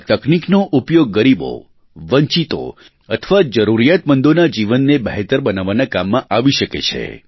આ તકનિકનો ઉપયોગ ગરીબો વંચિતો અથવા જરૂરીયાતમંદોના જીવનને બહેતર બનાવવાના કામમાં આવી શકે છે